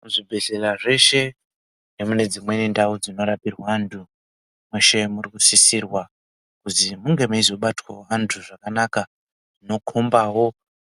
Kuzvibhedhlera zveeshe nekunedzimweni ndau dzinorapirwe antu, munokurudzirwa kuti munge meizobatwawo vantu zvakana. Zvinokhomba